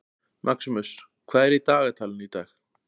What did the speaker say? Maximus, hvað er í dagatalinu í dag?